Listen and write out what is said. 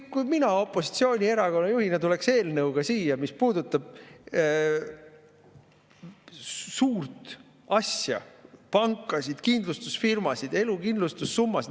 Kui mina opositsioonierakonna juhina tuleksin siia eelnõuga, mis puudutab suurt asja – pankasid, kindlustusfirmasid, elukindlustussummasid …